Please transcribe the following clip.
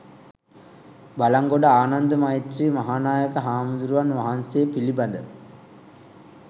බළන්ගොඩ ආනන්ද මෛත්‍රෙය මහා නායක හාමුදුරුවන් වහන්සේ පිළිබඳ